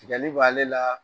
ko ale la